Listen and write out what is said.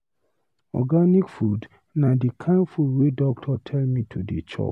Organic food na di kain food wey doctor tell me to dey chop.